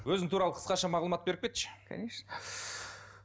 өзің туралы қысқаша мағлұмат беріп кетші конечно